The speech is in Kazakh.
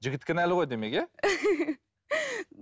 жігіт кінәлі ғой демек иә